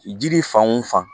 Jiri fan wo fan